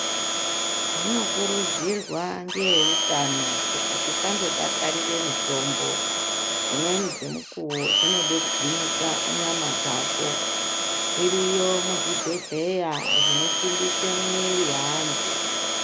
Zvinokurudzirwa ngeeutano kuti tisandodakarire mitombo dzimweni dzemukuwo zvinode kugwinyisa nyama dzako zviriyo muzvibhedhlera zvinosimbise mwiiri yeantu.